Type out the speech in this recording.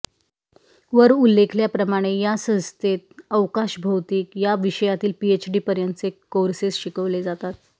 वर उल्लेखल्याप्रमाणे या संस्थेत अवकाश भौतिक या विषयातील पीएचडीपर्यंतचे कोस्रेस शिकवले जातात